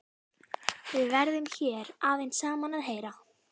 Við erum hér aðeins saman að heyra.